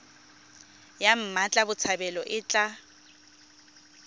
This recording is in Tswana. ya mmatla botshabelo e tla